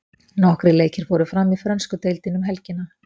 Nokkrir leikir fóru fram í frönsku deildinni um helgina.